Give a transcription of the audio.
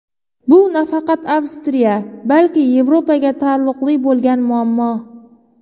Bu nafaqat Avstriya, balki Yevropaga taalluqli bo‘lgan muammo.